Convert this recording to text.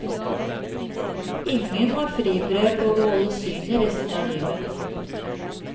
Ingen har fribrev på å beholde synet resten av livet.